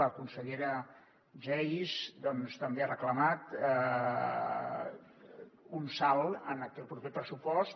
la consellera geis doncs també ha reclamat un salt en aquest proper pressupost